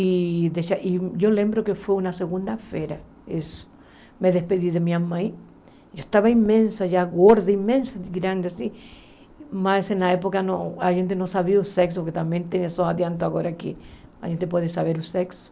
E eu lembro que foi uma segunda-feira, eu me despedi da minha mãe, eu estava imensa, gorda, imensa, grande, mas na época a gente não sabia o sexo, que também tem isso adiantado agora que a gente pode saber o sexo.